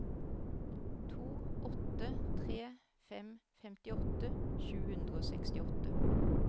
to åtte tre fem femtiåtte sju hundre og sekstiåtte